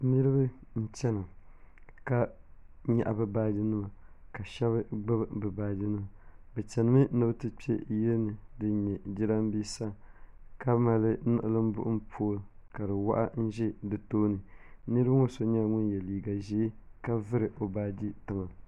Niriba n chɛna ka yɛɣi bi baaji nima ka shɛba gbubi bi baaji nima bi chɛni mi ni bi ti kpɛ yili ni dini nyɛ jiranbesa ka mali niɣilimbuɣim pooli ka di wɔɣi n zi di tooni niriba ŋɔ so nyɛla ŋuni ye liiga zɛɛ ka vuri o baaji tiŋa.